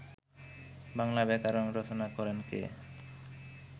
বাংলা ব্যাকরণ রচনা করেন কে